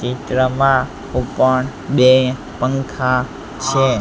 ચિત્રમાં ઉપર બે પંખા છે.